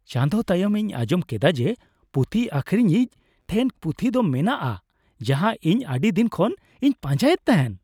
ᱪᱟᱸᱫᱚ ᱛᱟᱭᱚᱢ ᱤᱧ ᱟᱸᱡᱚᱢ ᱠᱮᱫᱟ ᱡᱮ ᱯᱩᱛᱷᱤ ᱟᱠᱷᱨᱤᱧᱼᱤᱡ ᱴᱷᱮᱱ ᱯᱩᱛᱷᱤ ᱫᱚ ᱢᱮᱱᱟᱜᱼᱟ ᱡᱟᱦᱟᱸ ᱤᱧ ᱟᱹᱰᱤ ᱫᱤᱱ ᱠᱷᱚᱱ ᱤᱧ ᱯᱟᱸᱡᱟᱭᱮᱫ ᱛᱟᱦᱮᱸᱫ ᱾